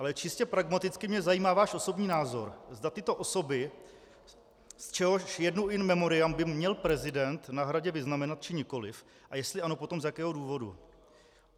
Ale čistě pragmaticky mě zajímá váš osobní názor, zda tyto osoby, z čehož jednu in memoriam, by měl prezident na Hradě vyznamenat, či nikoliv, a jestli ano, tak z jakého důvodu.